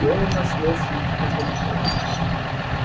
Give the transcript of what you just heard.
дело зашло слишком далеко